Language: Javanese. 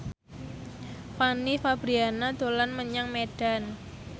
Fanny Fabriana dolan menyang Medan